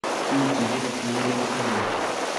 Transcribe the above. Kiiwekyi icheket kongoi David Clumpner